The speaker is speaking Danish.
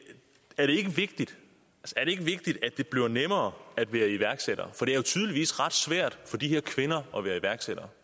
vigtigt at det bliver nemmere at være iværksætter for det er jo tydeligvis ret svært for de her kvinder at være iværksættere